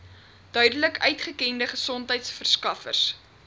duidelik uitgekende gesondheidsorgverskaffers